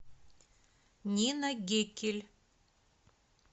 нина геккель